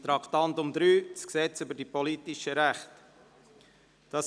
Wir kommen zum Traktandum 3, dem Gesetz über die politischen Rechte (PRG).